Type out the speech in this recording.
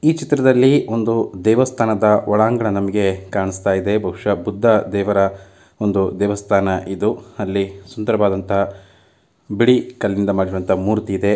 ಈ ಚಿತ್ರದಲ್ಲಿ ಒಂದು ದೇವಸ್ಥಾನದ ಒಳಾಂಗಣ ನಮಗೆ ಕಾಣಿಸ್ತಾ ಇದೆ ಬಹುಶಃ ಬುದ್ಧ ದೇವರ ಒಂದು ದೇವಸ್ಥಾನ ಇದು ಅಲ್ಲಿ ಸುಂದರವಾದಂತಹ ಬಿಳಿ ಕಲ್ಲಿನಿಂದ ಮಾಡಿರುವಂತಹ ಮೂರ್ತಿ ಇದೆ.